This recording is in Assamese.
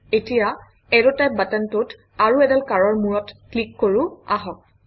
এতিয়া এৰৱ টাইপ বাটনটোত আৰু এডাল কাঁড়ৰ মূৰত ক্লিক কৰোঁ আহক